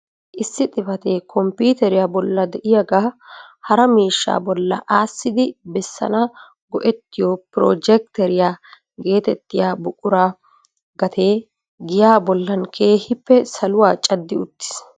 Issi xifatee komppiteriya bolla de'iyaaga hara miishshaa bolla aassidi bessana go"ettiyo "projjekkiteriya" getettiya buqura gatee giyaa bollan keehippe saluwaa caddi uttiis.